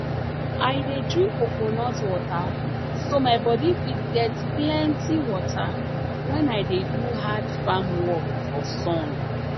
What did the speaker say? i dey drink coconut water so my body fit get plenti water when i dey do hard farm work for sun